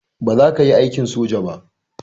Baza kayi aikin soja ba